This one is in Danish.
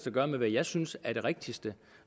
at gøre med hvad jeg synes er det rigtigste